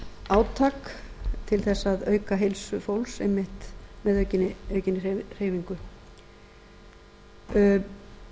átak til þess að auka heilsu fólks einmitt með aukinni hreyfingu það